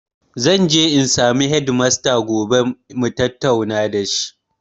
Zanje in samu hedimasta gobe mutatauna da shi